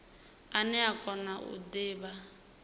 ane a kona u divha